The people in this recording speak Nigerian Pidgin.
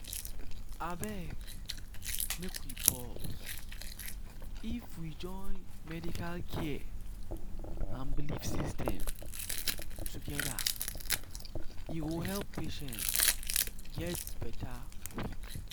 abeg make we pause — if we join medical care and belief systems together e go help patients get better quick.